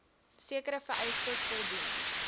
sekere vereistes voldoen